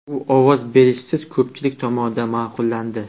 U ovoz berishsiz ko‘pchilik tomonidan ma’qullandi.